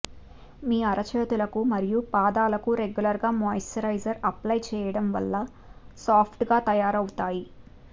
మీ అరచేతులకు మరియు పాదలకు రెగ్యులర్ గా మాయిశ్చరైజ్ అప్లై చేయడం వల్ల సాఫ్ట్ గా తయారవుతాయి